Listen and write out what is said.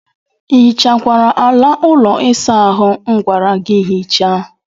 Ị hichakwara ala ụlọ ịsa ahụ m gwara gị hichaa?